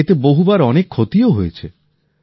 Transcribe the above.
এতে বহুবার অনেক ক্ষতিও হয়েছে